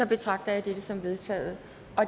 betragter jeg dette som vedtaget